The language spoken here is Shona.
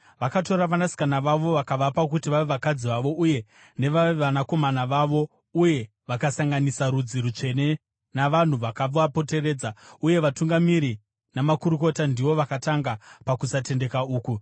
Vakatora vanasikana vavo vakavapa kuti vave vakadzi vavo uye nevevanakomana vavo, uye vakasanganisa rudzi rutsvene navanhu vakavapoteredza. Uye vatungamiri namakurukota ndivo vakatanga pakusatendeka uku.”